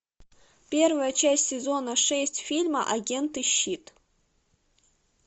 первая часть сезона шесть фильма агенты щит